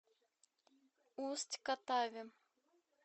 усть катаве